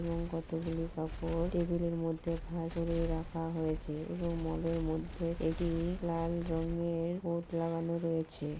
এবং কতগুলি কাপড় টেবিল -এর মধ্যে ভাজ করে রাখা হয়েছে এবং মল -এর মধ্যে এটি-ই লাল রঙের বোট লাগানো রয়েছে।